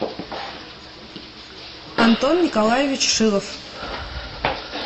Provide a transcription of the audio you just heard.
антон николаевич шилов